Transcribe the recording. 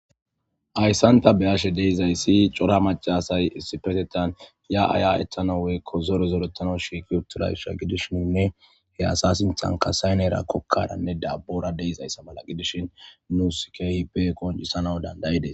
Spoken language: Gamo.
Hayssan ta be'ashe de'iyayssi cora macca asay issippetettan ya'a ya'ettana woykko zore zoretana shiiqi uttidayssa gidishininne he asa sinththan qasse kokkaranne dabbora de'izayssa mala gidishin nuusi keehippe qonccisanaw danda'ides.